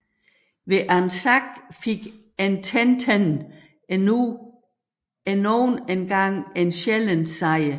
Ved Anzac fik Ententen endnu en sjælden sejr